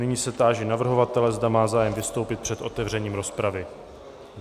Nyní se táži navrhovatele, zda má zájem vystoupit před otevřením rozpravy.